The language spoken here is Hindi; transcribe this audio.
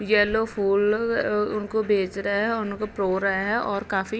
येलो फूल अउउ उनको भेज रहे हैं। उनको रहे हैं और काफी --